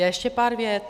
Já ještě pár vět.